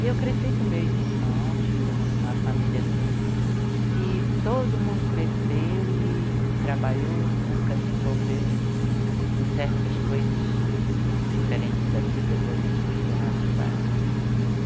E eu cresci com meus irmãos, fomos uma família assim que todo mundo cresceu e trabalhou, nunca se envolveu em certas coisas diferentes da vida, para o desgosto dos nossos pais.